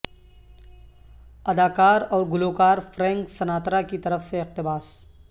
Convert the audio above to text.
اداکار اور گلوکار فرینک سناترا کی طرف سے اقتباس